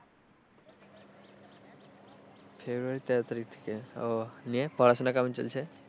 ফেব্রুয়ারীর তেরো তারিখ থেকে আহ নিয়ে পড়াশোনা কেমন চলছে?